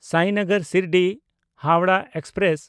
ᱥᱟᱭᱱᱚᱜᱚᱨ Shirdi-Howrah express